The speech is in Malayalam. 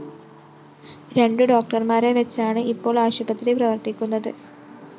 രണ്ടു ഡോക്ടര്‍മാരെ വെച്ചാണ് ഇപ്പോള്‍ ആശുപത്രി പ്രവര്‍ത്തിക്കുന്നത്